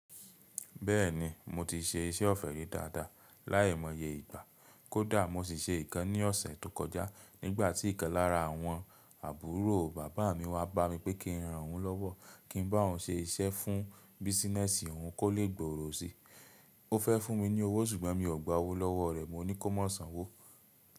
Bẹ́ẹ̀ni mo ti se iṣẹ́ ọ̀fẹ́ rí dáadáa láìmọye ìgbà. Kódà mo sì se ìkan ní ọ̀sẹ̀ tó kọjá nígbà tí ìkan lára àwọn àbúrò bàbá mi wá bá mi pé kí n ran òun lọ́wọ́ kí n bá òun se iṣẹ́ fún bísinẹ́sì òun kó lè gbòòrò si. O fẹ́ fún mi ní owó ṣùgbọ́n mi ò gba owó lọ́wọ́ rẹ̀. Mo ní kó mọ̀sàn wó.